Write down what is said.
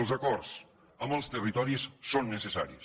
els acords amb els territoris són necessaris